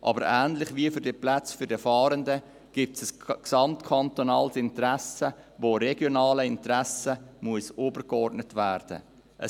Aber ähnlich wie für die Plätze für die Fahrenden, gibt es ein gesamtkantonales Interesse, das regionalen Interessen übergeordnet werden muss.